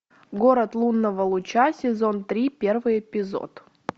город лунного луча сезон три первый эпизод